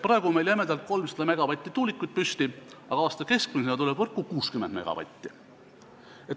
Praegu on meil jämedalt võttes tuulikuid püsti 300 megavati jagu, aga aasta keskmisena tuleb võrku 60 megavatti.